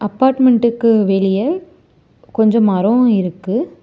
அப்பார்ட்மெண்டுக்கு வெளியே கொஞ்சோ மரோ இருக்கு.